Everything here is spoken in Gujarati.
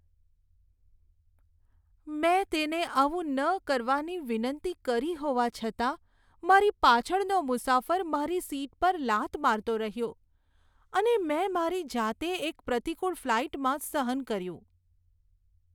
મેં તેને આવું ન કરવાની વિનંતી કરી હોવા છતાં મારી પાછળનો મુસાફર મારી સીટ પર લાત મારતો રહ્યો અને મેં મારી જાતે એક પ્રતિકુળ ફ્લાઈટમાં સહન કર્યું.